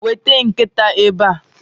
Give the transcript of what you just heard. weta nkita ebea